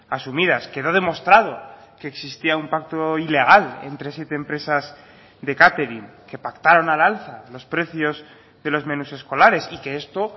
asumidas quedó demostrado que existía un pacto ilegal entre siete empresas de catering que pactaron al alza los precios de los menús escolares y que esto